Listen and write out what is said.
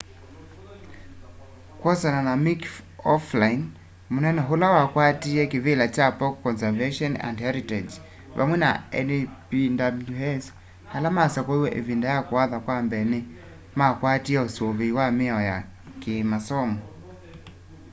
kwosana na mick o'flynn munene ula wakwatiie kivila cha park conservation and heritage pamwe na npws ala masakuiwe ivinda ya kuatha kwa mbee ni makwatie usuvii na miao ya kiimasomo